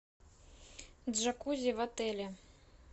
джакузи в отеле